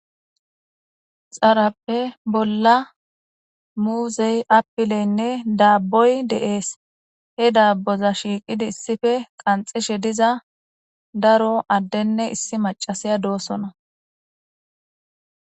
Xarappe bolla muuzey apileynne daabboy deees he daabboza shiiqidi issife qanxishe diza daro addenne issi macasiya doosona.